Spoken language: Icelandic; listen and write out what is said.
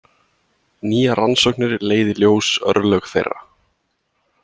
Nýjar rannsóknir leiða í ljós örlög þeirra.